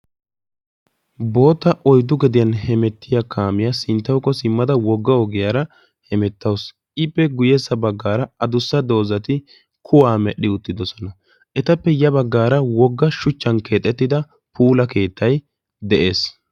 Bootta oyddu gediyan hemettiya kaamiya sinttawukka simadda hemettawussu. Etappe sintta bagan keehippe puula keettay de'ees.